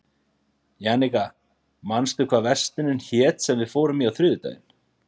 Jannika, manstu hvað verslunin hét sem við fórum í á þriðjudaginn?